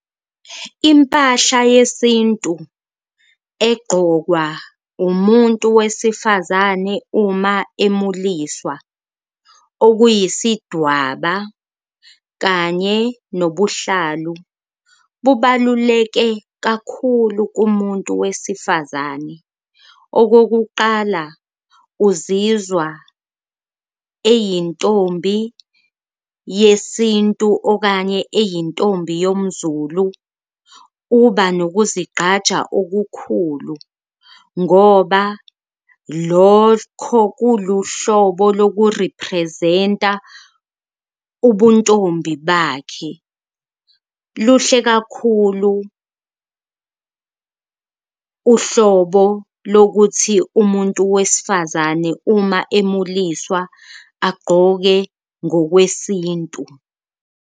Impahla yesintu eqokwa umuntu wesifazane uma emuliswa okuyisidwaba kanye nobuhlalu, bubaluleke kakhulu kumuntu wesifazane. Okokuqala, uzizwa eyintombi yesintu okanye eyintombi yomZulu, uba nokuzigqaja okukhulu ngoba lokho kuluhlobo loku-represent-a ubuntombi bakhe. Luhle kakhulu uhlobo lokuthi umuntu wesifazane uma emuliswa agqoke ngokwesintu.